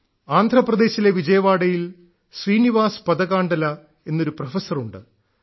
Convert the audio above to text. ആന്ധ്രപ്രദേശിലെ വിജയവാഡയിൽ ശ്രീനിവാസ് പദകാണ്ഡല എന്നൊരു പ്രൊഫസർ ഉണ്ട്